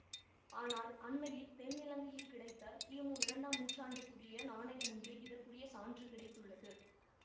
ஆனால் அண்மையில் தென்னிலங்கையில் கிடைத்த கிமுஇரண்டாம் நூற்றாண்டுக்குரிய நாணயம் ஒன்றில் இதற்குரிய சான்று கிடைத்துள்ளது